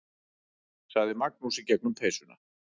sagði Magnús í gegnum peysuna.